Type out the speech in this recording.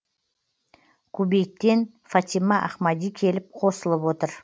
кубейттен фатима ахмади келіп қосылып отыр